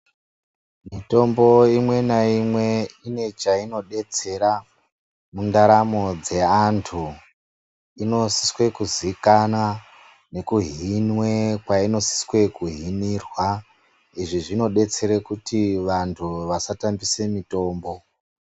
Mitombo imwe naimwe ine chainodetsera mundaramo dzeanthu inosise kuzikanwa nekuhinwe kwainosise kuhinirwa, izvi zvinodetsere kuti vanthu vasatambise mitombo.